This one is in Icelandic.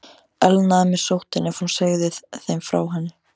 Elnaði mér sóttin, ef hún segði þeim frá henni?